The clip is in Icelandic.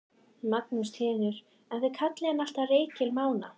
Magnús Hlynur: En þið kallið hann alltaf Reykdal Mána?